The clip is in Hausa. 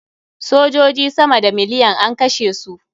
Sojoji sama da miliyan an kashe su.